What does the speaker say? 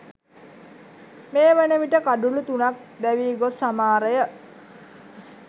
මේ වනවිට කඩුලු තුනක් දැවී ගොස් හමාරය